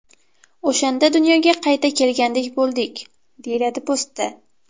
O‘shanda dunyoga qayta kelgandek bo‘ldik”, deyiladi postda.